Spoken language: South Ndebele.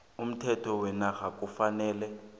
umthetho wenarha kufanele